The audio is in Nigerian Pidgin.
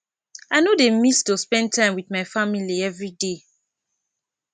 i no dey miss to spend time wit my family everyday